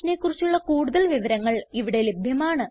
ഈ മിഷനെ കുറിച്ചുള്ള കുടുതൽ വിവരങ്ങൾ ഇവിടെ ലഭ്യമാണ്